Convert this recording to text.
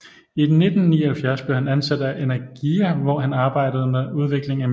I 1979 blev han ansat af Energija hvor han arbejde med udviklingen af Mir